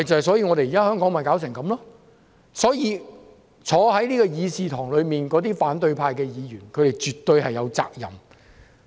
所以，香港弄成這樣，議事堂內的反對派議員絕對有責任。